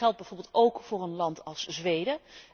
En dat geldt bijvoorbeeld ook voor een land als Zweden.